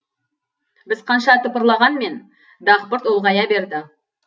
біз қанша тыпырлағанмен дақпырт ұлғая берді